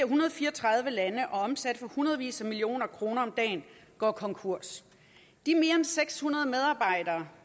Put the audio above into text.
hundrede og fire og tredive lande omsatte for hundredvis af millioner kroner om dagen går konkurs de mere end seks hundrede medarbejdere